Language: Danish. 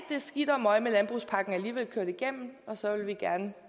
skidt og møg med landbrugspakken alligevel kørt igennem og så vil vi gerne